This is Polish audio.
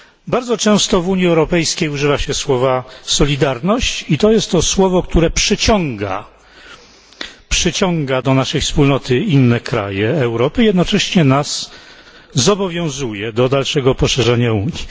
Bardzo często w Unii Europejskiej używa się słowa solidarność i to jest to słowo, które przyciąga do naszej wspólnoty inne kraje Europy i jednocześnie nas zobowiązuje do dalszego poszerzenia Unii.